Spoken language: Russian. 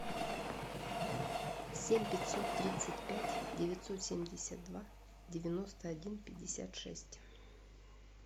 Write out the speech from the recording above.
семь пятьсот тридцать пять девятьсот семьдесят два девяносто один пятьдесят шесть